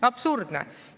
Absurdne!